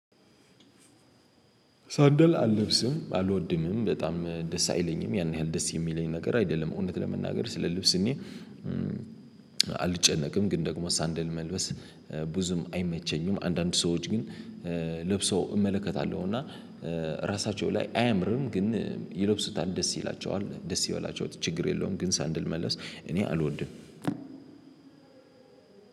ሳንደል አልለብስም አልወድምም በጣም ደስ አይለኝም ያን ያህል ደስ የሚለኝ ነገር አይደለም እውነት ለመናገር ስለ ልብስ እኔ አልጨነቅም። ግን ደግሞ ሳንደል መልበስ ብዙም አይመቸኝም። አንዳንድ ሰዎች ግን ለብሰው እመለከታለሁ። እና ራሳቸው ላይ አያምርም ግን ይለብሱታል ደስ ይላቸዋል ደስ የወላቸውት ችግር የለውም። ግን ሳንድል መለስ እኔ አልወድም።